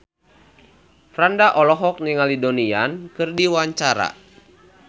Franda olohok ningali Donnie Yan keur diwawancara